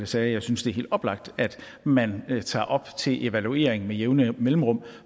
sagde at jeg synes det er helt oplagt at man tager op til evaluering med jævne mellemrum